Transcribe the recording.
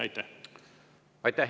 Aitäh!